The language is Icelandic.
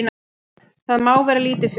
Það má vera lítilfjörlegt.